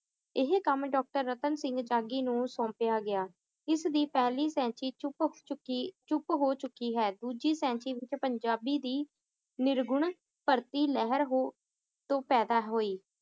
ਏਹੇ ਕੰਮ doctor ਰਤਨ ਸਿੰਘ ਜਾਗੀ ਨੂੰ ਸੋਂਪਿਆ ਗਿਆ ਇਸ ਦੀ ਪਹਿਲੀ ਸੈਂਚੀ ਚੁੱਕੀ, ਚੁੱਪ ਹੋ ਚੁੱਕੀ ਹੈ ਦੂਜੀ ਸੈਂਚੀ ਵਿਚ ਪੰਜਾਬੀ ਦੀ ਨਿਰਗੁਣ ਭਰਤੀ ਲਹਿਰ ਹੋ ਤੋਂ ਪੈਦਾ ਹੋਈ